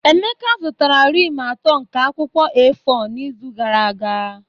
Emeka zụtara rim atọ nke akwụkwọ A4 n'izu gara aga